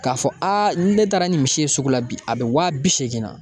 K'a fɔ aa ni ne taara ni misi ye sugu la bi a bɛ waa bi seegin na.